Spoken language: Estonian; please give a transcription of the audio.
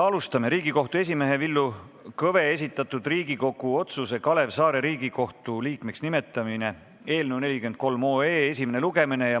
Alustame Riigikohtu esimehe Villu Kõve esitatud Riigikogu otsuse "Kalev Saare Riigikohtu liikmeks nimetamine" eelnõu 43 esimest lugemist.